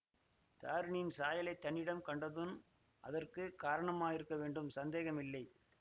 தாரிணியின் சாயலைத் தன்னிடம் கண்டதுதான் அதற்கு காரணமாயிருக்க வேண்டும் சந்தேகமில்லை